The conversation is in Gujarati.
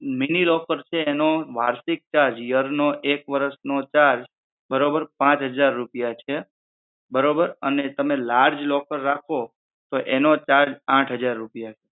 mini locker છે એનો વાર્ષિક ચાર્જ એક વરશ નો ચાર્જ પાંચ હજાર રૂપિયા છે બરોબર અને તમે large locker રાખો તો એનો charge હજાર રૂપિયા છે